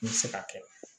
N bɛ se ka kɛ